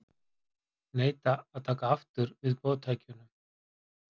Neita að taka aftur við boðtækjunum